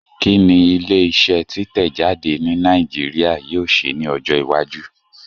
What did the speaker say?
Kí ni ilé iṣẹ́ títẹ̀ jáde ní Nàìjíríà yóò ṣe ní ọjọ́ iwájú?